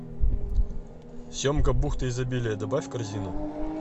семга бухта изобилия добавь в корзину